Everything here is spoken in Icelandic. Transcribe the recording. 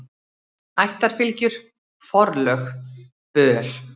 Ættarfylgjur, forlög, böl.